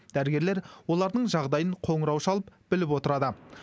дәрігерлер олардың жағдайын қоңырау шалып біліп отырады